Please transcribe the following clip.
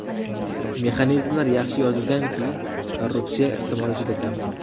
Mexanizmlar yaxshi yozilganki, korrupsiya ehtimoli juda kam.